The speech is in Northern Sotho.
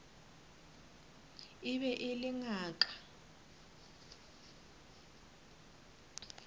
e be e le ngaka